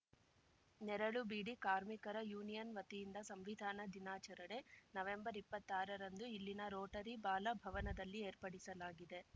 ನೆರಳು ಬೀಡಿ ಕಾರ್ಮಿಕರ ಯೂನಿಯನ್‌ ವತಿಯಿಂದ ಸಂವಿಧಾನ ದಿನಾಚರಣೆ ನವೆಂಬರ್ಇಪ್ಪತ್ತಾರರಂದು ಇಲ್ಲಿನ ರೋಟರಿ ಬಾಲ ಭವನದಲ್ಲಿ ಏರ್ಪಡಿಸಲಾಗಿದೆ